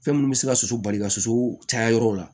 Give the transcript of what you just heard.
Fɛn minnu bɛ se ka soso bali ka sosow caya yɔrɔw la